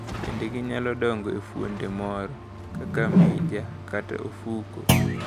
Bende ginyalo dongo e fuonde moro, kaka mija kata ofuko.